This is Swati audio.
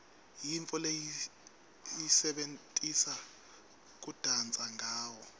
yintfo lesiyisebentisa kudansa ngawo